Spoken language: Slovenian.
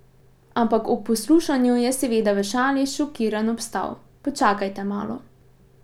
Ampak ob poslušanju je, seveda v šali, šokiran obstal: 'Počakajte malo ...